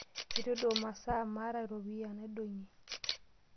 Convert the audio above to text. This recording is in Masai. Etu aidong' masaa maata iropiyani naidong'ie.